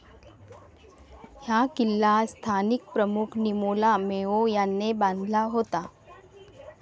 हा किल्ला स्थानिक प्रमुख निमोला मेओ याने बांधला होता